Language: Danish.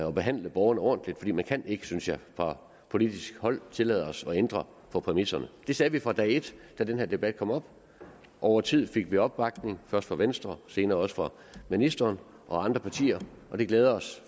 og behandle borgerne ordentligt for man kan ikke synes jeg fra politisk hold tillade sig at ændre på præmisserne det sagde vi fra dag ét da den her debat kom op og over tid fik vi opbakning først fra venstre og senere også fra ministeren og andre partier og det glæder os